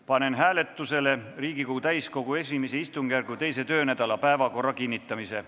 Panen hääletusele Riigikogu täiskogu I istungjärgu teise töönädala päevakorra kinnitamise.